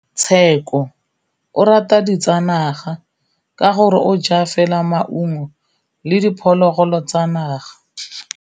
Tshekô o rata ditsanaga ka gore o ja fela maungo le diphologolo tsa naga.